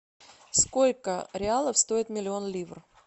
сколько реалов стоит миллион ливр